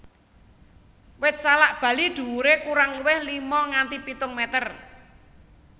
Wit salak Bali dhuwuré kurang luwih lima nganti pitung meter